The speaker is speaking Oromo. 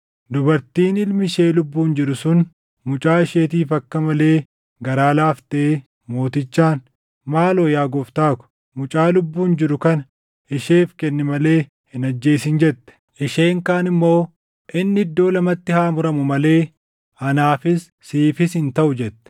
Dubartiin ilmi ishee lubbuun jiru sun mucaa isheetiif akka malee garaa laaftee mootichaan, “Maaloo yaa Gooftaa ko, mucaa lubbuun jiru kana isheef kenni malee hin ajjeesin” jette. Isheen kaan immoo, “Inni iddoo lamatti haa muramuu malee anaafis siifis hin taʼu!” jette.